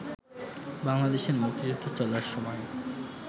বাংলাদেশের মুক্তিযুদ্ধ চলার সময়